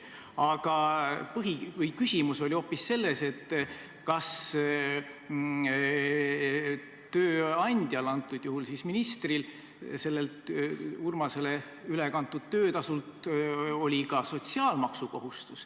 Aga küsimus oli hoopis selles, kas tööandjal, antud juhul siis ministril oli kohustus maksta Urmasele ülekantud töötasult ka sotsiaalmaksu.